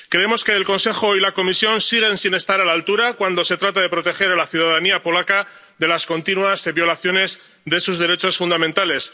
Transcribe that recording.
Creemos que el Consejo y la Comisión siguen sin estar a la altura cuando se trata de proteger a la ciudadanía polaca de las continuas violaciones de sus derechos fundamentales.